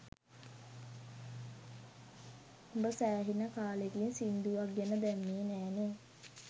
උඹ සෑහෙන කාලෙකින් සිංදුවක් ගැන දැම්මෙ නෑනේ